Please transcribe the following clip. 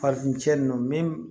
Fafin cɛ nunnu min